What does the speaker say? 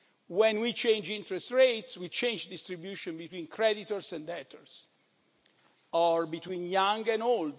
When we change interest rates we change distribution between creditors and debtors, or between young and old.